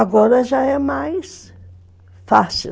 Agora já é mais fácil.